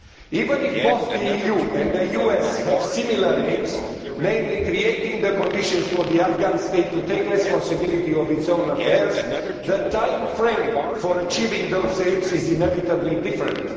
Even if both the EU and the US have similar aims, namely creating the conditions for the Afghan state to take responsibility for its own affairs, the timeframe for achieving those aims is inevitably different.